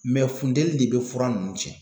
funteni de be fura nunnu cɛn.